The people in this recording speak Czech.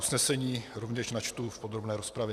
Usnesení rovněž načtu v podrobné rozpravě.